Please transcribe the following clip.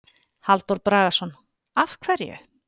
Halldór Bragason: Af hverju?